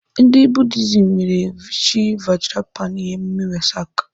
Ndị Buddhism mere Chi Vajrapāṇi emume Wesak.